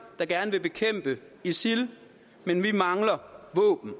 der gerne vil bekæmpe isil men vi mangler våben